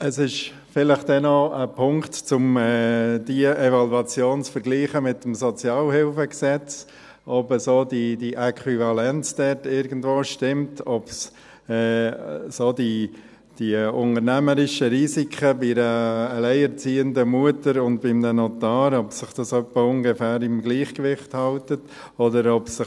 Es ist vielleicht dann noch ein Punkt, diese Evaluation mit dem Gesetz über die öffentliche Sozialhilfe (Sozialhilfegesetz, SHG) zu vergleichen, ob die Äquivalenz dort irgendwo stimmt, ob sich die unternehmerischen Risiken bei einer alleinerziehenden Mutter und bei einem Notar in etwa im Gleichgewicht halten, oder ob sich